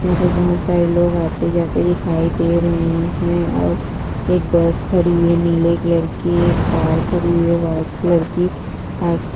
यहा पर बहुत सारे लोग आते-जाते दिखाई दे रहे है और एक बस खड़ी हुई है नीले कलर की एक कार खड़ी है व्हाइट कलर की आ --